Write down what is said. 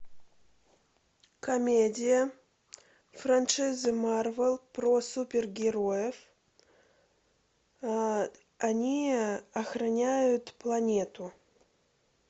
комедия франшизы марвел про супергероев они охраняют планету